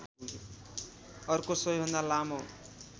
अर्को सबैभन्दा लामो